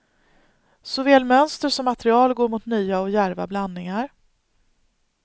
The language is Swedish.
Såväl mönster som material går mot nya och djärva blandningar.